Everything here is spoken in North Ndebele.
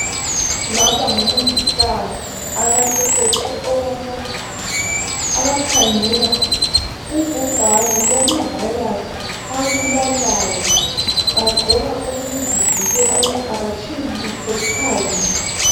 Laba ngomongikazi abaqeqetshe okwamagama abakhangela ubhubhane lwama virus abulalayo, bagqoka okokuzivikela ukuthi abatshiyilutho phandle.